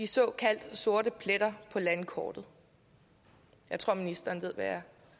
såkaldt sorte pletter på landkortet jeg tror ministeren ved hvad jeg